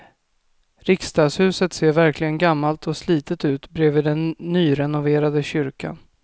Riksdagshuset ser verkligen gammalt och slitet ut bredvid den nyrenoverade kyrkan.